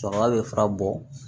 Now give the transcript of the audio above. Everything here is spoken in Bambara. Cɛkɔrɔba bɛ fura bɔ